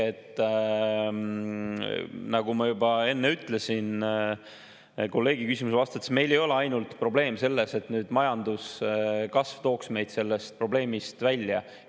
Nagu ma juba enne kolleegi küsimusele vastates ütlesin, probleem ei ole ainult selles, et majanduskasv tooks meid sellest välja.